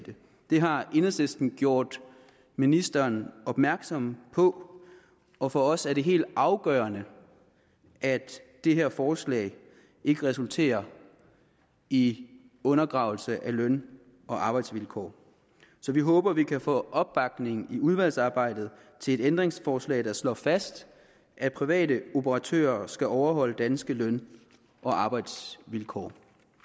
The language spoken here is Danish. det har enhedslisten gjort ministeren opmærksom på og for os er det helt afgørende at det her forslag ikke resulterer i undergravelse af løn og arbejdsvilkår så vi håber vi kan få opbakning i udvalgsarbejdet til et ændringsforslag der slår fast at private operatører skal overholde danske løn og arbejdsvilkår